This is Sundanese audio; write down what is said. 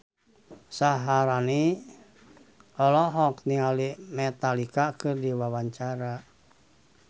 Syaharani olohok ningali Metallica keur diwawancara